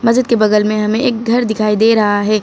मस्जिद के बगल में हमें एक घर दिखाई दे रहा है।